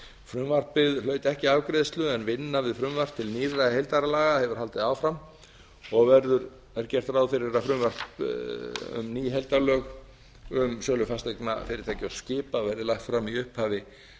frumvarpið hlaut ekki afgreiðslu en vinna við frumvarp til nýrra heildarlaga hefur haldið áfram og er gert ráð fyrir að frumvarp um ný heildarlög um sölu fasteigna fyrirtækja og skipa verði lagt fram í upphafi